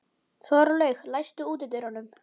Þorlaug, læstu útidyrunum.